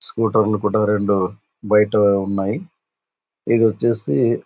స్కూటర్లు కూడా రెండు బైట ఉన్నాయ్ ఏది వచ్చేసి --